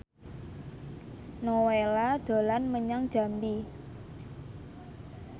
Nowela dolan menyang Jambi